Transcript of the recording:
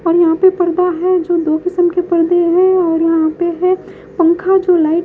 और यहां पे पर्दा है जो दो किसम के पर्दे हैं और यहां पे है पंखा जो लाइट --